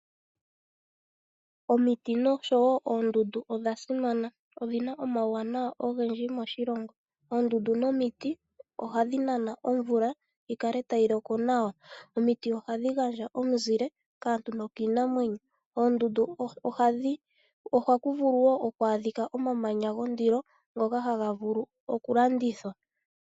Omiti noshowo oondundu odha simana. Odhi na omauwanawa ogendji moshilongo. Oondundu nomiti ohadhi nana omvula yi kale tayi loko nawa. Omiti hadhi gandja omuzile kaantu nokiinamwenyo. Oondundu ohaku vulu oku adhika omamanya gondilo ngoka gaga vulu okulandithwa.